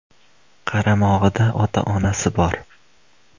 Qaramog‘ida ota-onasi bor.